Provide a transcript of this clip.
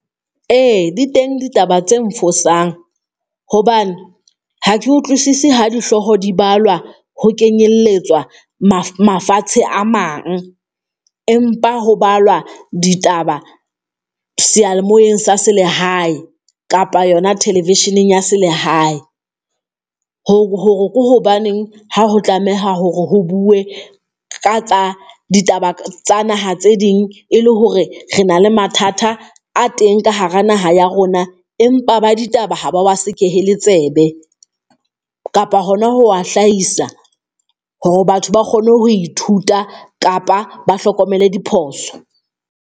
E di teng ditaba tse nfosang, hobane ha ke utlwisise ha dihlooho di balwa ho kenyelletswa mafatshe a mang, empa ho balwa ditaba seyalemoyeng sa selehae kapa yona thelevesheneng ya selehae, hore ke hobaneng ha ho tlameha hore ho bue ka tsa ditaba tsa naha tse ding, e le hore re na le mathata a teng ka hara naha ya rona. Empa ba ditaba ha ba wa sekehele tsebe, kapa hona ho wa hlahisa hore batho ba kgone ho ithuta kapa ba hlokomele diphoso.